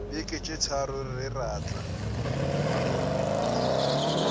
beke tše tharo re tla